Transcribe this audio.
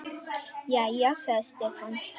Jæja, sagði Stefán.